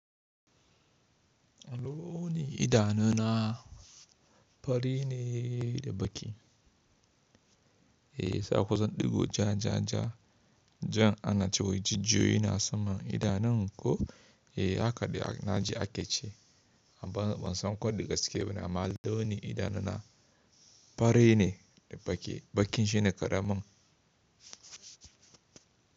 Alo ni idanuna fari ne da baki. Eh saƙon zan ɗigo ja, ja, ja. Jan ana cewa jijiyoyi na saman idanun ku. Eh haka di na ji ake ce amma ban san ko di gaske bane amma alo ni idanuna fari ne da baki. Bakin shi ne karamin.